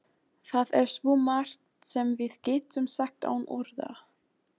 Það er svo margt sem við getum sagt án orða.